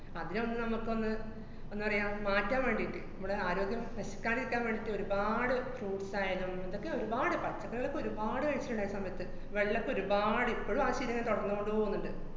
അതിനെയൊന്ന് നമ്മക്കൊന്ന് ന്താ പറയാ, മാറ്റാന്‍ വേണ്ടീട്ട് മ്മടെ ആരോഗ്യം നശിക്കാണ്ടിരിക്കാന്‍ വേണ്ടീട്ട് ഒരപാട് fruits ആയാലും ഇതൊക്കെ ഒരുപാട്, പച്ചക്കറികളൊക്കെ ഒരുപാട് കഴിച്ചിട്ട്ണ്ട് ആ സമയത്ത്. വെള്ളോക്കെ ഒരുപാട് ഇപ്പഴും ആ ശീലോയിങ്ങനെ തുടർന്നോണ്ട് പോവ്ന്ന്ണ്ട്.